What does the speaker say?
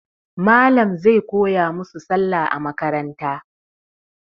Malam zai koya musu Sallah a makaranta.